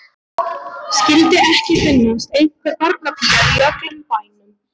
Skyldi ekki finnast einhver barnapía í öllum bænum.